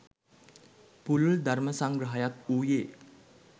පුළුල් ධර්ම සංග්‍රහයක් වූයේ